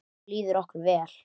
Þá líður okkur vel.